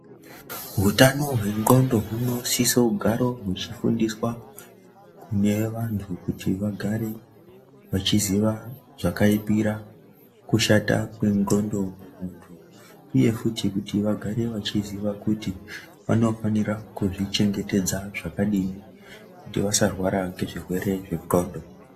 Hutano hwandxondo hunosisa kugare huchifundiswa kune vantu kuti vagare vachiziva zvakaipira kushata kwendxondo kumuntu, uye futi kuti vagare vachiziva kuti vanofanira kuzvichengetedza zvakadini kuti vasarwara ngezvirwere zvendxondo.